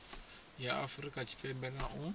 ya afurika tshipembe na u